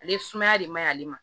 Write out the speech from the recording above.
Ale sumaya de man ɲi ale ma